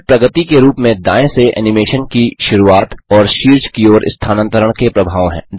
इसमें प्रगति के रूप में दायें से एनिमेशन की शुरूआत और शीर्ष की ओर स्थानांतरण के प्रभाव हैं